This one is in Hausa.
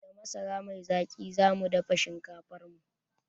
Da masara mai zaƙi zamu dafa shinkafarmu